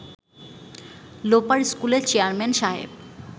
লোপার স্কুলের চেয়ারম্যান সাহেব